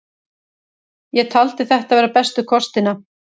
Ég taldi þetta vera bestu kostina.